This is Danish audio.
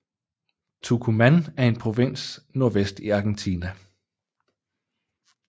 Tucumán er en provins nordvest i Argentina